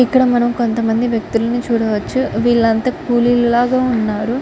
ఇక్కడ మనం కొంత మంది వ్యక్తులని చూడవచ్చు .ఇక్కడ వీలు అంత కూలీలా ఉన్నారు.